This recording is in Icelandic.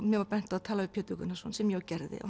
mér var bent á að tala við Pétur Gunnarsson sem ég gerði og